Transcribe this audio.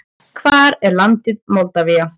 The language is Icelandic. Hvar er landið Moldavía?